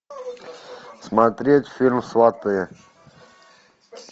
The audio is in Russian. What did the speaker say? смотреть фильм сваты